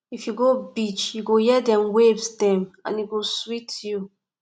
if you go beach you go hear dem waves dem and e go sweet you